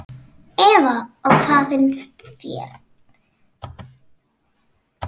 Eva: Og hvað finnst þér?